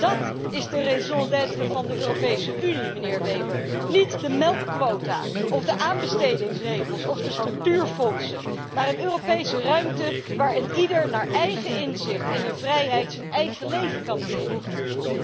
Dat is de raison d'être van de Europese Unie, meneer Weber, niet de melkquota of de aanbestedingsregels of de structuurfondsen, maar een Europese ruimte waar eenieder naar eigen inzicht en in vrijheid zijn eigen leven kan inrichten.